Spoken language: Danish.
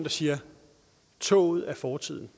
og siger at toget er fortid